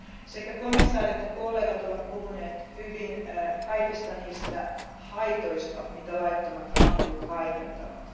Sekä komissaari että kollegat ovat puhuneet hyvin kaikista niistä haitoista, joita laittomat hakkuut aiheuttavat.